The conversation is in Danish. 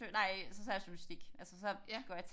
Nej så tager jeg journalistik altså så går jeg